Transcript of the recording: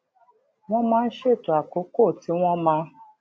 wón máa ń ṣètò àkókò tí wón máa